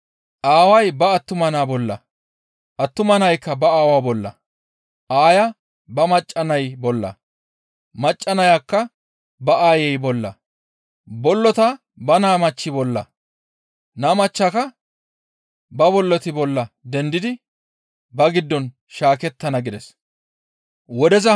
Aaway ba attuma naa bolla, attuma naykka ba aawaa bolla, aaya ba macca nay bolla, macca nayakka ba aayey bolla, bollota ba naa machchi bolla, naa machchaka ba bolloti bolla dendidi ba giddon shaakettana» gides.